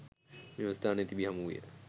මෙම ස්ථානයේ තිබි හමු විය.